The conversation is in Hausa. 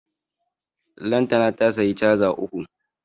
Lantana ta siya caza uku